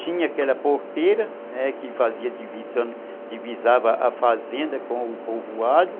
Tinha aquela porteira que divisava a fazenda com o povoado.